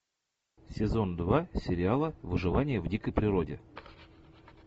сезон два сериала выживание в дикой природе